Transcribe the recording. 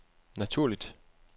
naturligt